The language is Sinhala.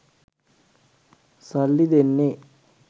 සල්ලි දෙන්නේ.